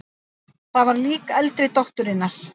Það var lík eldri dótturinnar.